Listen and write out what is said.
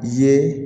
Ye